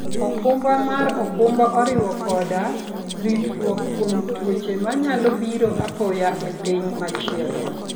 okumba mar okumba oriwo koda ritruok kuom tuoche manyalo biro apoya e piny machielo.